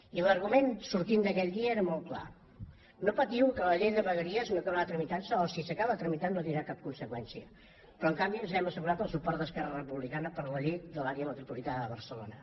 i l’argument que sortia d’aquell dia era molt clar no patiu que la llei de vegueries no acabarà tramitantse o si s’acaba tramitant no tindrà cap conseqüència però en canvi ens hem assegurat el suport d’esquerra republicana per la llei de l’àrea metropolitana de barcelona